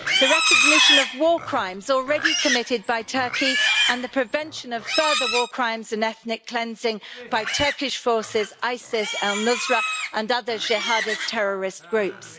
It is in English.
the recognition of war crimes already committed by Turkey and the prevention of further war crimes and ethnic cleansing by Turkish forces, ISIS, al Nusra and other jihadist terrorist groups